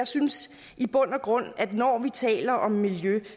synes i bund og grund at når vi taler om miljø